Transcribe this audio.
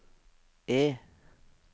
E